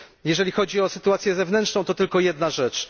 Jeżeli chodzi o sytuację zewnętrzną, to tylko jedna rzecz.